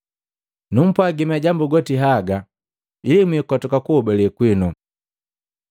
“Numpwagi majambu goti haga ili mwikotoka kuhobale kwino.